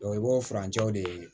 i b'o furancɛw de